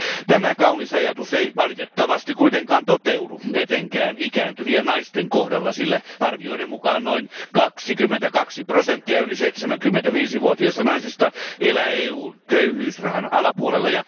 Tämä kaunis ajatus ei valitettavasti kuitenkaan toteudu etenkään ikääntyvien naisten kohdalla, sillä arvioiden mukaan noin 22 prosenttia yli 75 vuotiaista naisista elää EUn köyhyysrajan alapuolella.